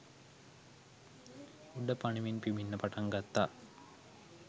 උඩ පනිමින් පිඹින්න පටන් ගත්තා